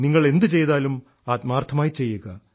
നിങ്ങൾ എന്തു ചെയ്താലും ആത്മാർഥമായി ചെയ്യുക